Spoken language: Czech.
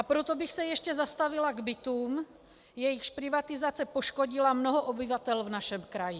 A proto bych se ještě zastavila k bytům, jejichž privatizace poškodila mnoho obyvatel v našem kraji.